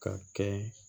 Ka kɛ